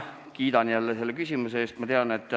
Kiidan jälle selle küsimuse eest!